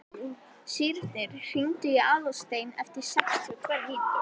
Sírnir, hringdu í Aðalstein eftir sextíu og tvær mínútur.